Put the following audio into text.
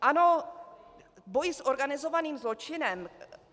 Ano, boj s organizovaným zločinem.